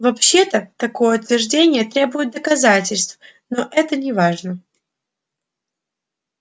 вообще-то такое утверждение требует доказательств но это неважно